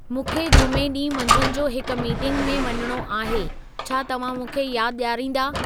मूंखे जुमे ॾींहुं मंझंद जो हिक मीटिंग में वञणो आहे छा तव्हां मूंखे यादि ॾियारींदा